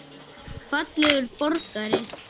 Fallegur borgari?